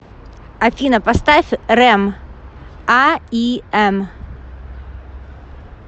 афина поставь рэм а и эм